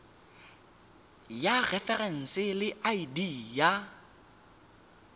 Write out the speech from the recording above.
ya referense le id ya